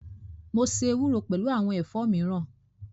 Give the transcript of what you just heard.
Mo ṣe ewúro pẹlu awọn ẹ̀fọ́ miran